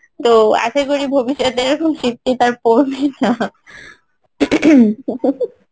তো আশাকরি ভবিষতে এইরকম শীত ঠিত আর পড়বেনা ing